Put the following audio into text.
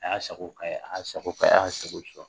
A y'a sago k'a ye a y'a sago k'a ye a ye